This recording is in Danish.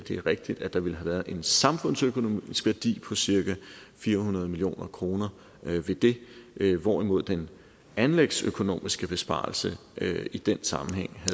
er rigtigt at der ville have været en samfundsøkonomisk værdi på cirka fire hundrede million kroner ved det det hvorimod den anlægsøkonomiske besparelse i den sammenhæng